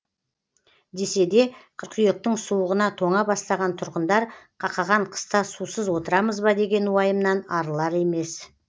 десе де қыркүйектің суығына тоңа бастаған тұрғындар қақаған қыста сусыз отырамыз ба деген уайымнан арылар емес